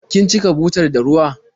Kin cika butar da ruwa?